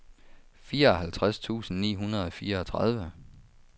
fireoghalvtreds tusind ni hundrede og fireogtredive